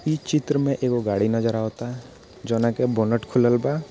इ चित्र मे एगो गाड़ी नजर आवता जोना के बोनट खुलल बा।